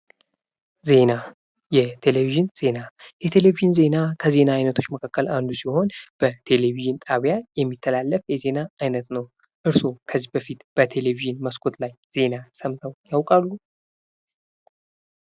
ዜና፤ የቴሌቪዥን ዜና፤ የቴሌቪዥን ዜና ከዜና አይነቶች ውስጥ አንዱ ሲሆን በቴሌቪዥን ጣቢያ የሚተላለፍ የዜና አይነት ነው። እርሶ ከዚህ በፊት በቴሌቪዥን መስኮት ላይ ዜና ሰምተው ያውቃሉ?